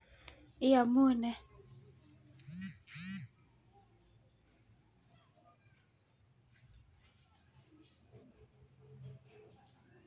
Iamune?